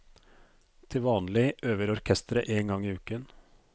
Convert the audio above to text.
Til vanlig øver orkesteret én gang i uken.